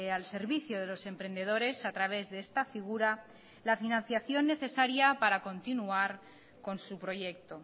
al servicio de los emprendedores a través de esta figura la financiación necesaria para continuar con su proyecto